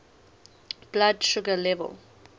blood sugar level